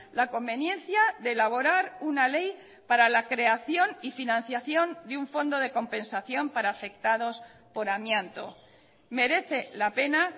la conveniencia de elaborar una ley para la creación y financiación de un fondo de compensación para afectados por amianto merece la pena